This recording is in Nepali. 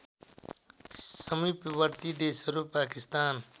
समीपवर्ती देशहरू पाकिस्तान